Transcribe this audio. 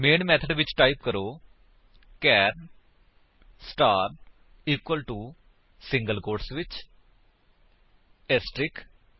main method ਵਿੱਚ type ਕਰੋ ਚਾਰ star equal to single quotes ਵਿੱਚ ਏਸਟਰਿਕਸ